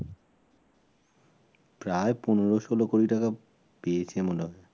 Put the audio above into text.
প্রায় পনের ষোল কোটি টাকা পেয়েছে মনে হয়